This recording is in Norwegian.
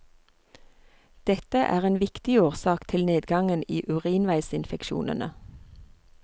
Dette er en viktig årsak til nedgangen i urinveisinfeksjonene.